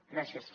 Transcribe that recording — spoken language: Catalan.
gràcies